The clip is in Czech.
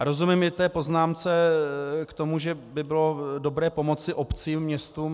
A rozumím i té poznámce k tomu, že by bylo dobré pomoci obcím, městům.